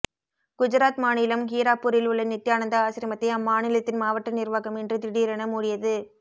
குஜராத் மாநிலம் ஹீராப்பூரில் உள்ள நித்யானந்தா ஆசிரமத்தை அம்மாநிலத்தின் மாவட்ட நிர்வாகம் இன்று திடீரென மூடியது